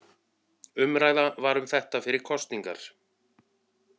Umræða var um þetta fyrir kosningar